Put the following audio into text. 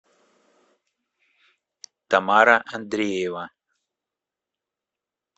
тамара андреева